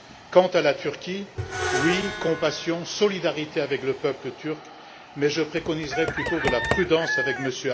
Quant à la Turquie, je dis oui à la compassion et à la solidarité avec le peuple turc, mais je préconiserai plutôt de la prudence avec